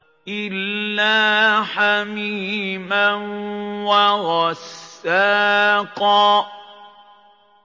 إِلَّا حَمِيمًا وَغَسَّاقًا